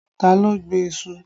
Ta ló gbin iṣu?